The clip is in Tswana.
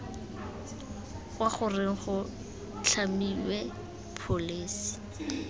kwa goreng go tlhamiwe pholesi